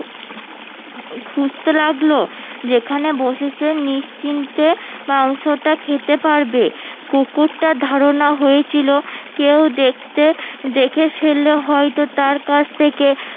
খুঁজতে লাগলো যেখানে বসে সে নিশ্চিন্তে মাংসটা খেতে পারবে কুকুরটার ধারণা হয়েছিল কেউ দেখতে দেখে ফেললে হয়তো তার কাছ থেকে